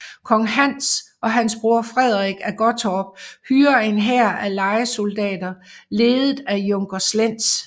Kong Hans og hans bror Frederik af Gottorp hyrer en hær af lejesoldater ledet af junker Slentz